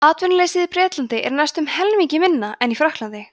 atvinnuleysið í bretlandi er næstum helmingi minna en í frakklandi